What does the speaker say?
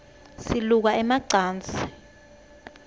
siluka ema cansi